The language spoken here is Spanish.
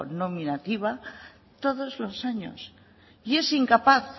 nominativa todos los años y es incapaz